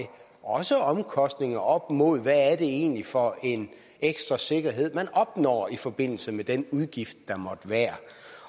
også omkostninger op imod hvad det egentlig er for en ekstra sikkerhed der opnås i forbindelse med den udgift der måtte være